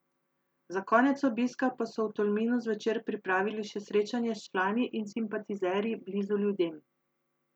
Za konec obiska pa so v Tolminu zvečer pripravili še srečanje s člani in simpatizerji Blizu ljudem.